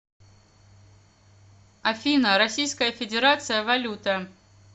афина российская федерация валюта